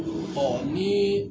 nin